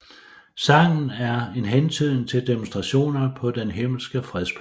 Sangen er en hentydning til Demonstrationerne på Den Himmelske Freds Plads